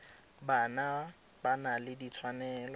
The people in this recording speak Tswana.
bana ba na le ditshwanelo